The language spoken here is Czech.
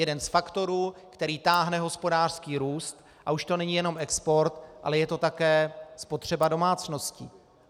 Jeden z faktorů, který táhne hospodářský růst, a už to není jenom export, ale je to také spotřeba domácností.